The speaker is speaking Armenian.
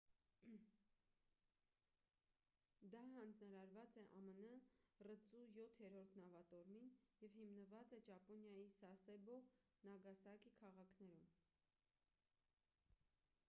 դա հանձնարարված է ամն ռծու յոթերորդ նավատորմին և հիմնված է ճապոնիայի սասեբո նագասակի քաղաքներում